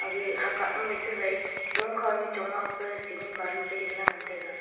hagae hahkah ma su wai longkhow nyu chonga pa cement balu phai dingla ngan taiga.